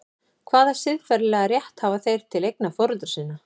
Hvaða siðferðilega rétt hafa þeir til eigna foreldra sinna?